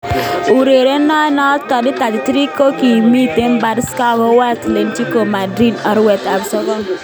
Urerenindet noto, 33 kokimeto Barca akowo Atlerico Madrid arawet ab sogol.